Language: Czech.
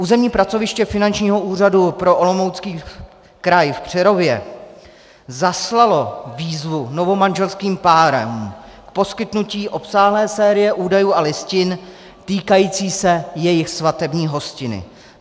Územní pracoviště Finančního úřadu pro Olomoucký kraj v Přerově zaslalo výzvu novomanželským párům k poskytnutí obsáhlé série údajů a listin týkající se jejich svatební hostiny.